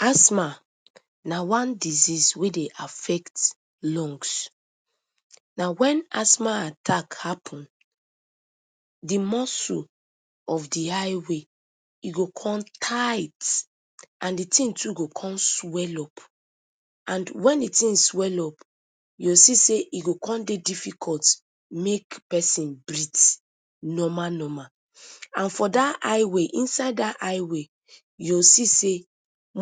Asthma na one disease wey dey affect lungs. Na wen asthma attack happen, di muscle of di airway e go con tight and di tin too go con swell up. And wen di tin swell up, you go see sey e go con dey difficult make pesin breathe normal normal. And for dat airway, inside dat airway, you go see sey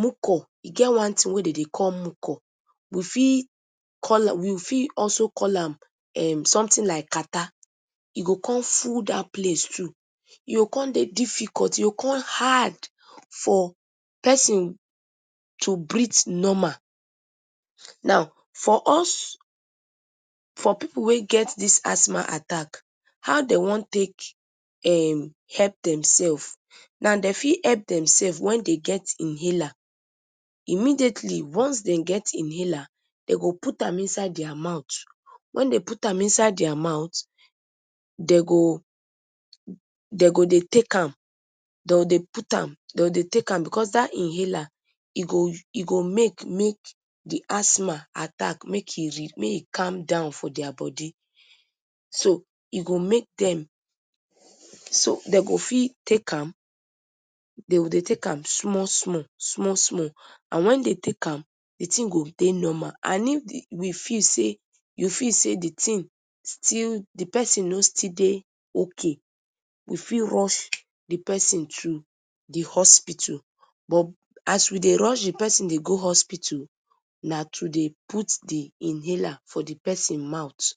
mucor, e get one tin wey dem dey call mucor, we fit call am, we fit also call am um something like catarrh, e go con full dat place too. E go con de difficult, e go con hard for pesin to breathe normal. Now, for us, for pipu wey get dis asthma attack, how dem wan take um help demsef? Na dem fit help demsef wen de get inhaler. Immediately, once dem get inhaler, dem go put am inside dia mouth. Wen dem put am inside dia mouth, dem go, dem go dey take am, dem go dey put am, dem go dey take am becos dat inhaler, e go use, e go make make di asthma attack make e red-, make e calm down for dia bodi. So, e go make dem, so dem go fit take am, de go dey take am small small, small small and wen de take am, di tin go de normal. And if we feel sey, you feel sey di tin still, di pesin no still dey ok, we fit rush di pesin to di hospital but as we dey rush di pesin go hospital, na to de put di inhaler for di pesin mouth.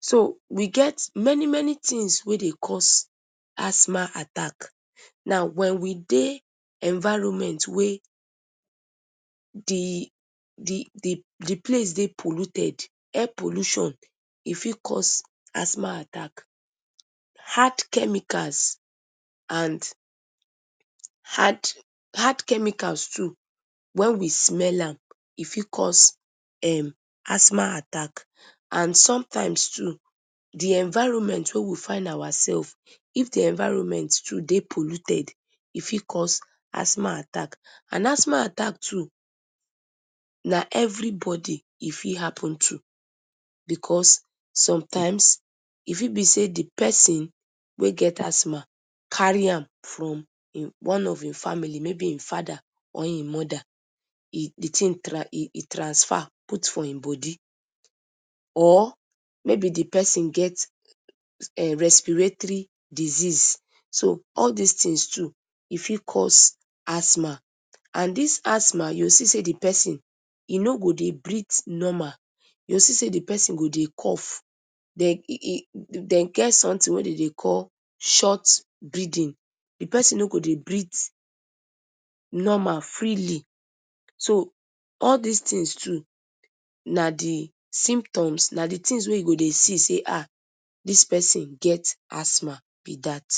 So, we get many many tins wey dey cause asthma attack. Now, wen we dey environment wey di di di di place dey place de polluted, air pollution, e fit cause asthma attack. Hard chemicals and hard, hard chemicals too. Wen we smell am, e fit cause um asthma attack and sometimes too di environment wey we find ourself; if di environment too de polluted, e fit cause asthma attack. And asthma attack too na everybody e fit happen to becos sometimes e fit be sey di pesin wey get asthma carry am from im one of im family, maybe im fada or im moda. E, di tin tran-, e transfer put for im bodi. Or maybe di pesin get um respiratory disease. So, all dis tins too e fit cause asthma. And dis asthma, you go see sey di pesin e no go de breathe normal. You go see sey di pesin go dey cough, dem e-, dem get something wey de de call ‘short breathing.’ Di pesin no go dey breathe normal, freely. So, all dis tins too na di symptoms, na di tins wey you go dey see sey - ‘Ah, dis pesin get asthma’ - be dat.